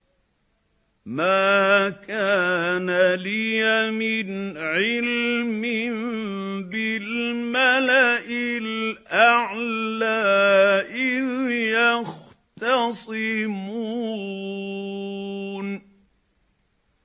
مَا كَانَ لِيَ مِنْ عِلْمٍ بِالْمَلَإِ الْأَعْلَىٰ إِذْ يَخْتَصِمُونَ